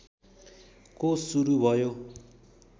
को सुरु भयो